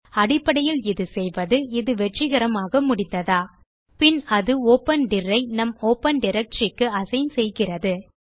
அடிப்படையில் இது செய்வது இது வெற்றிகரமாக முடிந்ததா பின் அது ஒப்பன் டிர் ஐ நம் ஒப்பன் டைரக்டரி க்கு அசைன் செய்கிறது